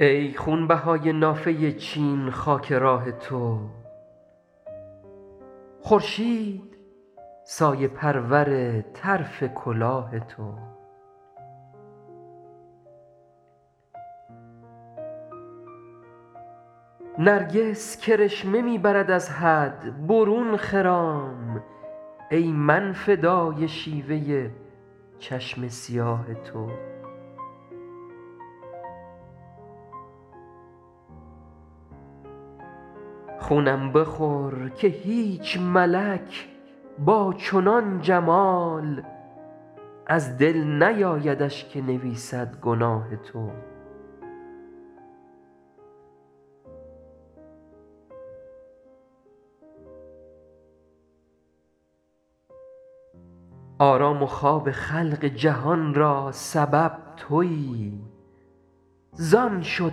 ای خونبهای نافه چین خاک راه تو خورشید سایه پرور طرف کلاه تو نرگس کرشمه می برد از حد برون خرام ای من فدای شیوه چشم سیاه تو خونم بخور که هیچ ملک با چنان جمال از دل نیایدش که نویسد گناه تو آرام و خواب خلق جهان را سبب تویی زان شد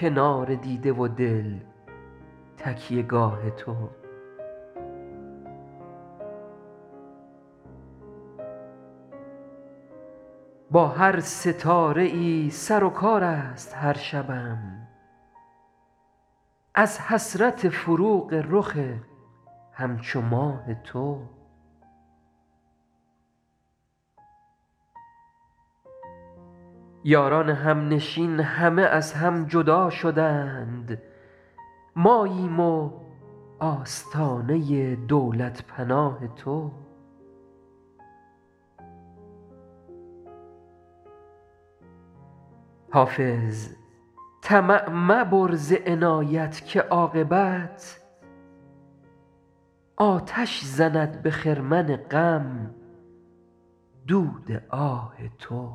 کنار دیده و دل تکیه گاه تو با هر ستاره ای سر و کار است هر شبم از حسرت فروغ رخ همچو ماه تو یاران همنشین همه از هم جدا شدند ماییم و آستانه دولت پناه تو حافظ طمع مبر ز عنایت که عاقبت آتش زند به خرمن غم دود آه تو